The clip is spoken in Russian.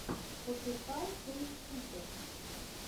пошукай той скутер